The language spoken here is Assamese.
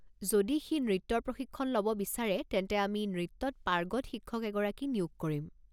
যদি সি নৃত্যৰ প্ৰশিক্ষণ ল'ব বিচাৰে তেন্তে আমি নৃত্যত পাৰ্গত শিক্ষক এগৰাকী নিয়োগ কৰিম।